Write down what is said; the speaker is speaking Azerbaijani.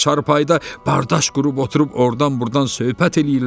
Çarpayda bardaş qurub oturub, ordan-burdan söhbət eləyirlər.